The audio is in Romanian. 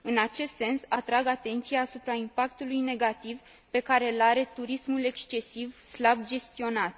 În acest sens, atrag atenția asupra impactului negativ pe care îl are turismul excesiv, slab gestionat.